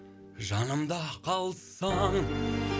жанымда қалсаң